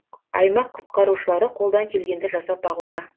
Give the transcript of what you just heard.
аймақ құтқарушылары қолдан келгенді жасап бағуда